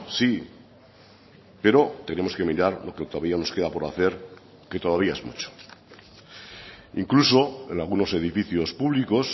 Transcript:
sí pero tenemos que mirar lo que todavía nos queda por hacer que todavía es mucho incluso en algunos edificios públicos